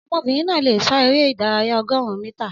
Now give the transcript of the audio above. Ọmọbìnrin náà lè sá eré ìdárayá ọgọrun mítà